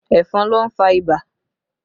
Ẹ̀fọn ló ń fà ibà